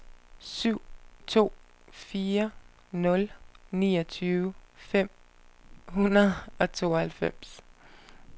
syv to fire nul niogtyve fem hundrede og tooghalvfjerds